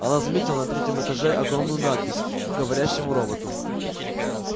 она заметила на третьем этаже огромную надпись говорящему роботу